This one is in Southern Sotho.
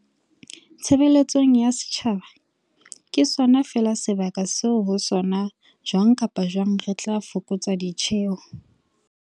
tshe beletsong ya setjhaba ke sona feela sebaka seo ho sona jwang kapa jwang re tla fokotsa ditjeo.